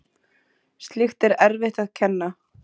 Slíkt er erfitt að kenna.